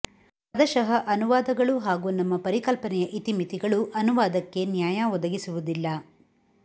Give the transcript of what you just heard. ಪದಶಃ ಅನುವಾದಗಳು ಹಾಗೂ ನಮ್ಮ ಪರಿಕಲ್ಪನೆಯ ಇತಿಮಿತಿಗಳು ಅನುವಾದಕ್ಕೆ ನ್ಯಾಯ ಒದಗಿಸುವುದಿಲ್ಲ